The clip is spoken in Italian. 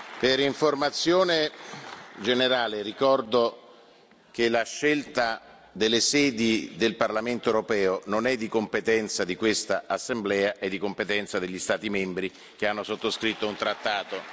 Per informazione generale, ricordo che la scelta delle sedi del Parlamento europeo non è di competenza di questa Assemblea, è di competenza degli Stati membri che hanno sottoscritto un trattato.